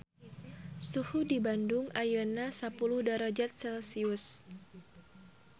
Suhu di Bandung ayeuna sapuluh darajat celcius